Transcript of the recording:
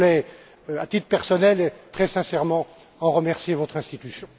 Je voulais, à titre personnel et très sincèrement en remercier votre institution.